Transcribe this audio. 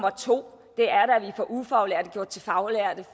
og 2 at vi får ufaglærte gjort til faglærte